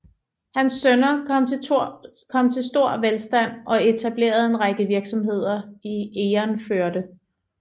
Hans sønner kom til stor velstand og etablerede en række virksomheder i Egernførde